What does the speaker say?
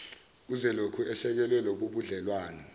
uzolokhu esekele lobubudlelwano